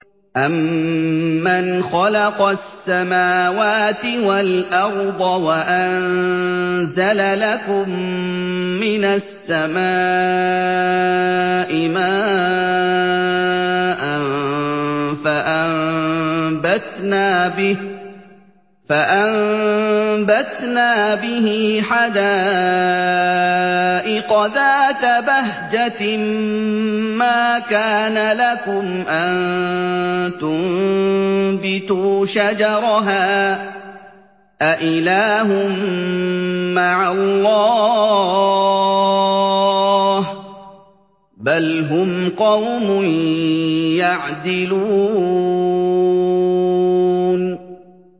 أَمَّنْ خَلَقَ السَّمَاوَاتِ وَالْأَرْضَ وَأَنزَلَ لَكُم مِّنَ السَّمَاءِ مَاءً فَأَنبَتْنَا بِهِ حَدَائِقَ ذَاتَ بَهْجَةٍ مَّا كَانَ لَكُمْ أَن تُنبِتُوا شَجَرَهَا ۗ أَإِلَٰهٌ مَّعَ اللَّهِ ۚ بَلْ هُمْ قَوْمٌ يَعْدِلُونَ